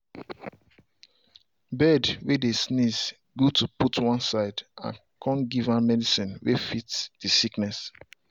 bird way dey sneeze good to put one side and come give am medicine way fit the sickness